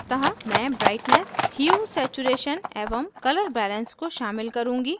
अतः मैं brightness huesaturation एवं color balance को शामिल करुँगी